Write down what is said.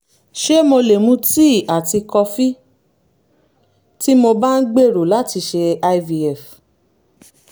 ṣé mo lè mu tíì àti kọfí tí mo bá ń gbèrò láti ṣe ivf?